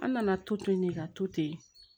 An nana to ten de ka to ten